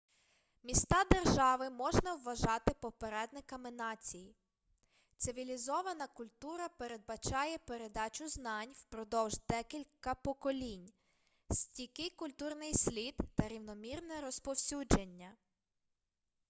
міста-держави можна вважати попередниками націй цивілізована культура передбачає передачу знань впродовж декілька поколінь стійкий культурний слід та рівномірне розповсюдження